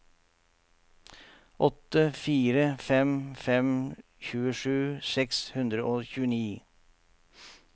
åtte fire fem fem tjuesju seks hundre og tjueni